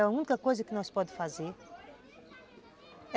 É a única coisa que nós podemos fazer.